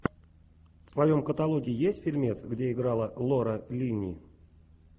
в твоем каталоге есть фильмец где играла лора лини